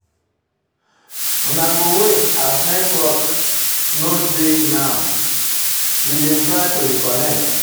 Una go wait as network no dey now; we dey try to reconnect.